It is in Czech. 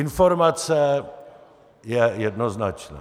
Informace je jednoznačná.